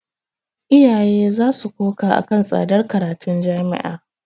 Iyaye za su koka a kan tsadar karatun jami'a.